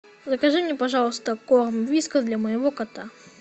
закажи мне пожалуйста корм вискас для моего кота